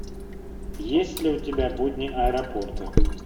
есть ли у тебя будни аэропорта